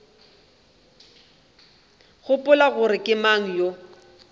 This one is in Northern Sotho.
gopola gore ke mang yo